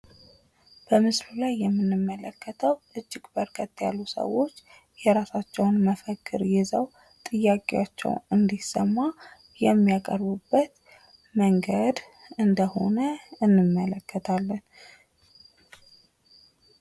በምስሉ ላይ የምንመከተው እጂግ በርከት ያሉ ሰዎች የራሳቸውን መፈክር ይዘው ጥያቄዎቻችውን እንዲሰማ የሚያቀርቡበት መንገድ ነው። እንደሆነ እንመለከታለን።